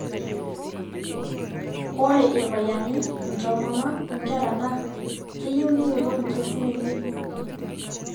Ore Irpayiani, intomonok, onkera naa keyieu neyiolou inkiasin enye tiang.